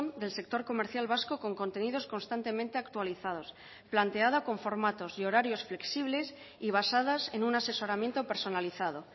del sector comercial vasco con contenidos constantemente actualizados planteada con formatos y horarios flexibles y basadas en un asesoramiento personalizado